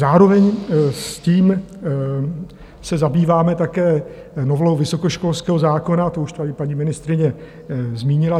Zároveň s tím se zabýváme také novelou vysokoškolského zákona, to už tady paní ministryně zmínila.